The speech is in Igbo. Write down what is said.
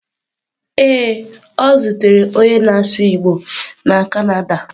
Ee, o zutere onye na-asụ igbo na Canada